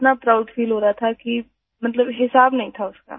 इतना proud feel हो रहा था कि मतलब हिसाब नहीं था उसका